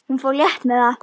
Hún fór létt með það.